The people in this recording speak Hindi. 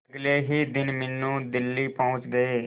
अगले ही दिन मीनू दिल्ली पहुंच गए